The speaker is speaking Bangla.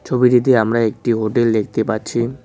ছবিটিতে আমরা একটি হোটেল দেখতে পাচ্ছি।